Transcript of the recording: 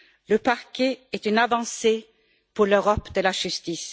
Le parquet est une avancée pour l'Europe de la justice.